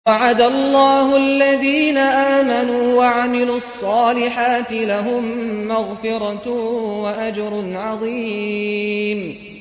وَعَدَ اللَّهُ الَّذِينَ آمَنُوا وَعَمِلُوا الصَّالِحَاتِ ۙ لَهُم مَّغْفِرَةٌ وَأَجْرٌ عَظِيمٌ